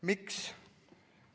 Miks?